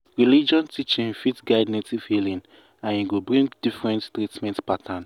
religion teaching fit guide native healing and e go bring different treatment pattern.